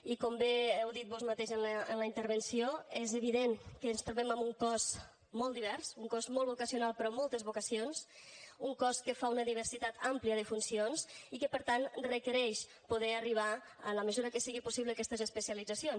i com bé heu dit vós mateix en la intervenció és evident que ens trobem amb un cos molt divers un cos molt vocacional però amb moltes vocacions un cos que fa una diversitat àmplia de funcions i que per tant requereix poder arribar en la mesura que sigui possible a aquestes especialitzacions